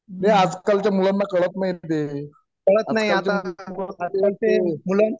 ते आजकालच्या मुलांना कळत नाही रे ते आजकाल च्या मुलांना